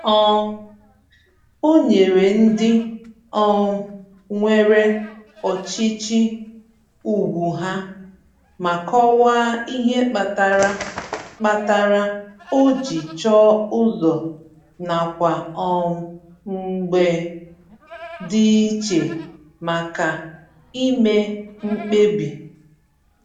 um O nyere ndị um nwere ọchịchị ugwu ha, ma kọwaa ihe kpatara kpatara o ji chọọ ụzọ nakwa um mbge dị iche maka ime mkpebi.